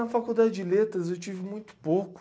Na faculdade de letras eu tive muito pouco.